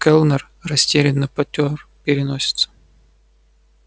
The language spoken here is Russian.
кэллнер растерянно потёр переносицу